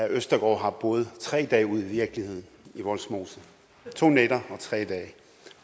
østergaard har boet tre dage ude i virkeligheden i vollsmose to nætter og tre dage